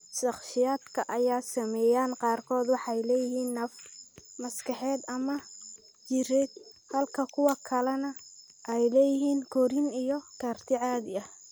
Shakhsiyaadka ay saameeyeen qaarkood waxay leeyihiin naafo maskaxeed ama jireed halka kuwa kalena ay leeyihiin korriin iyo karti caadi ah.